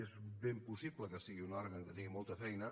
és ben possible que sigui un òrgan que tingui molta feina